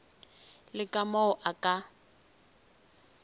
le ka moo o ka